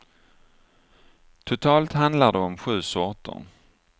Totalt handlar det om sju sorter.